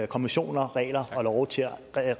konventioner regler og love til at